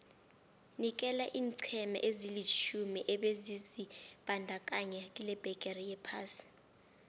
nikela iinqhema ezilitjhumi ebezizibandakanye kilebhigiri yephasi